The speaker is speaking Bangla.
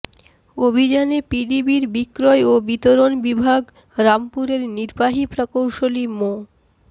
অভিযানে পিডিবির বিক্রয় ও বিতরণ বিভাগ রামপুরের নির্বাহী প্রকৌশলী মো